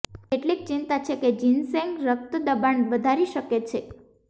કેટલીક ચિંતા છે કે જિનસેંગ રક્ત દબાણ વધારી શકે છે